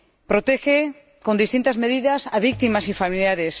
Protege con distintas medidas a víctimas y a familiares